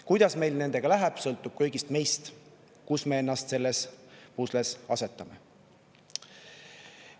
Kuidas meil nende kõigiga läheb, sõltub kõigist meist, sellest, kuhu me ennast selles pusles asetame.